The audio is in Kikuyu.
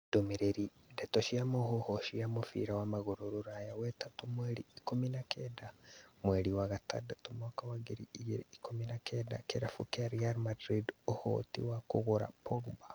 Ndũmĩrĩri, ndeto cia mũhuhu cia mũbira wa magũrũ Rũraya wetatũ mweri ikũmi na kenda mweri wa gatandatũ mwaka wa ngiri igĩrĩ ikũmi na kenda kĩrabu kĩa Real kĩna ũhoti wa kũgũra Pogba.